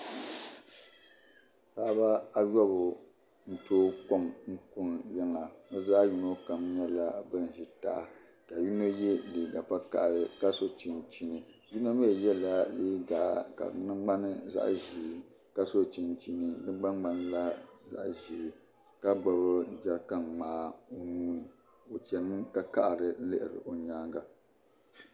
Paɣaba ayobu n tooi kom n ʒi n kuni yiŋa bi zaɣ yino kam nyɛla bin ʒi taha ka yino yɛ liigq vakaɣali ka so chinchini yino mii yɛla liigq ka di ŋmani zaɣ ʒiɛ ka gbubi jɛrikan ŋmaa o nuuni o chɛnimi ka kaɣari lihiri o nyaanga